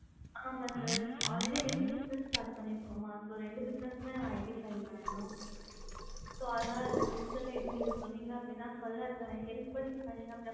அ வந்து already ரெண்டு business start பண்ணி இருக்கோம் so ரெண்டு business id file பண்ணனும் so அதனால எப்படி சொன்னிங்க அப்டின அதுக்கான further help பண்ணுவோம்